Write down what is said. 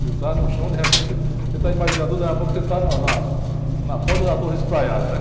Você está no chão, de repente, você, você está em baixo do viaduto, daqui a pouco você está no, na, na ponta da torre estaiada, né?